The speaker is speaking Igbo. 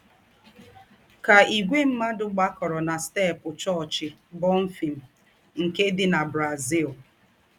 Kà ìgwè mmádụ gbàkọ̀rọ̀ nà steepụ chọọ́chị Bonfim, nke dị nà Brazil.